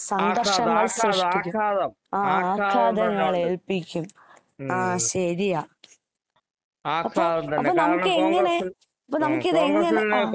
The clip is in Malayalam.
ആഘാതം ആഘാതം ആഘാതം